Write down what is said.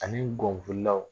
Ani gɔnflilaw